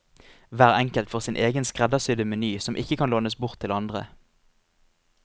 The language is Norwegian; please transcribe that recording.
Hver enkelt får sin egen skreddersydde meny som ikke kan lånes bort til andre.